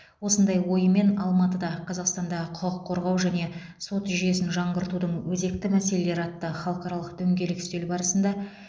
осындай ойымен алматыда қазақстандағы құқық қорғау және сот жүйесін жаңғыртудың өзекті мәселелері атты халықаралық дөңгелек үстел барысында